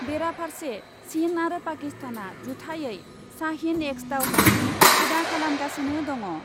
बेराफार्से चिन आरो पाकिस्तानआ जुथायै शाहिन एक्स दावहानि हुदा खालामगासिनो दङ ।